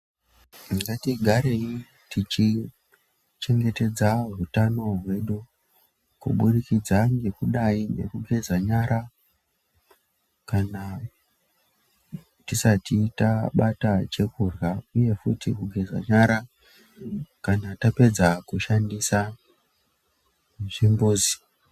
Ngatigarei tichichengetedza hutano hwedu kubudikidza ngekudai ngekugeza nyara kana tisati tabata chekurya uye futi kugeza nyara kana tapedza kushandisa zvimbuzi.